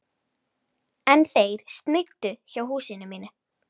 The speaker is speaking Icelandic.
En þeir sneiddu hjá húsinu mínu.